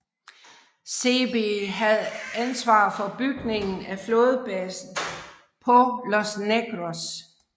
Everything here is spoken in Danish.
Seebee havde ansvar for bygningen af flådebasen på Los Negros